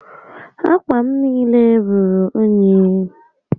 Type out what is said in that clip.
Ákwà m niile ruru únyí